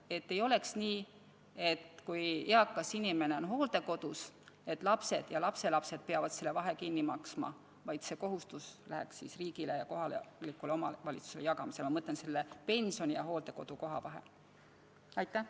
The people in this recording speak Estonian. Et ei oleks nii, et kui eakas inimene on hoolekodus, siis lapsed ja lapselapsed peavad vahe kinni maksma, vaid see kohustus läheks riigi ja kohaliku omavalitsuse vahel jagamisele, ma mõtlen, pensioni ja hooldekodukoha maksumuse vahe tasumine.